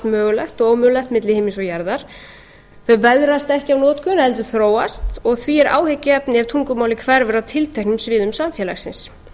mögulegt og ómögulegt milli himins og jarðar þau veðrast ekki af notkun heldur þróast og því er áhyggjuefni ef tungumálið hverfur af tilteknum sviðum samfélagsins